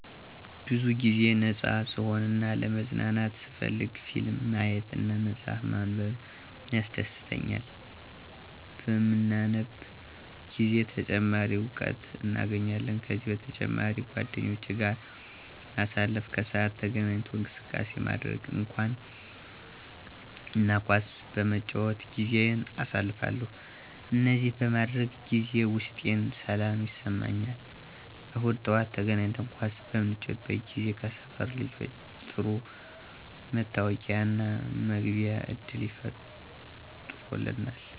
ብዙ ጊዜ ነፃ ስሆን እና ለመዝናናት ስፈልግ ፊልም ማየት እና መፅሐፍ ማንበብ ያስደሥተኛል። በምናነብ ጊዜ ተጨማሪ እውቀት እናገኛለን። ከዚህ በተጨማሪ ጓደኞቼ ጋር ማሳለፍ፣ ከሰዓት ተገናኝቶ እንቅስቃሴ ማድረግ እና ኳስ በመጫወት ጊዜየን አሳልፋለሁ። እነዚህን በማደርግበት ጊዜ ውስጤን ሰላም ይሰማኛል። እሁድ ጠዋት ተገናኝተን ኳስ በምንጫወት ጊዜ ከሰፈር ልጆች ጥሩ መተዋወቂያና መግባቢያ ዕድል ፈጥሮልናል።